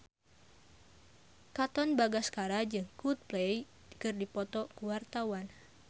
Katon Bagaskara jeung Coldplay keur dipoto ku wartawan